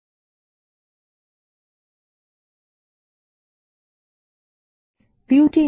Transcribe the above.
ভিউতে নিম্নলিখিত ক্ষেত্রগুলি অন্তর্ভুক্ত করুন - বইয়ের শিরোনাম সদস্যৰ নাম বই নেওয়ার তারিখ এবং বই ফেরত দেবার তারিখ